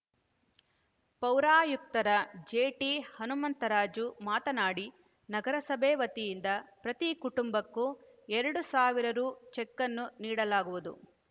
ಪೌರಾಯುಕ್ತರ ಜೆಟಿಹನುಮಂತರಾಜು ಮಾತನಾಡಿ ನಗರಸಭೆ ವತಿಯಿಂದ ಪ್ರತಿ ಕುಟುಂಬಕ್ಕೂ ಎರಡು ಸಾವಿರ ರು ಚೆಕನ್ನು ನೀಡಲಾಗುವುದು